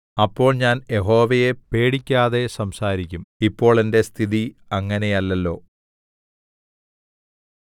അപ്പോൾ ഞാൻ യഹോവയെ പേടിക്കാതെ സംസാരിക്കും ഇപ്പോൾ എന്റെ സ്ഥിതി അങ്ങനെയല്ലല്ലോ